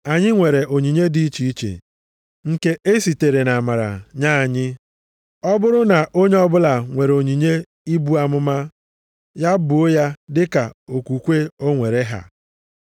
Anyị nwere onyinye dị iche iche nke e sitere nʼamara nye anyị, ọ bụrụ na onye ọbụla nwere onyinye ibu amụma, ya buo ya dịka okwukwe o nwere ha.